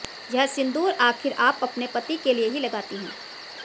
यह सिंदूर आखिर आप अपने पति के लिए ही लगाती हैं